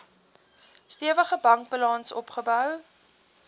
stewige bankbalans opgebou